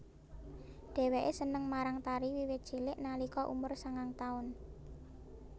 Dhéwéké seneng marang tari wiwit cilik nalika umur sangang taun